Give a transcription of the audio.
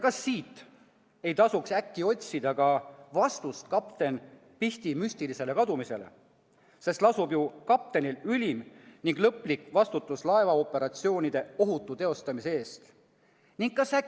Kas siit ei tasuks äkki otsida ka vastust kapten Pihti müstilisele kadumisele, sest lasub ju kaptenil ülim ning lõplik vastutus laevaoperatsioonide ohutu teostamise eest?